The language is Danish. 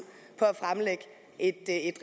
at